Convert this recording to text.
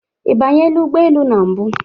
Ị banyela ụgbọ elu na mbụ?